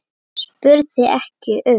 spurði ekki um